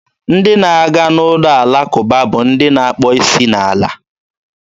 Ndị na-aga n'ụlọ alakụba bụ ndị na-akpọ isi n'ala.